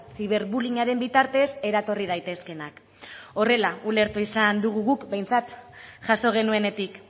ziberbullying aren bitartez eratorri daitezkeenak horrela ulertu izan dugu guk behintzat jaso genuenetik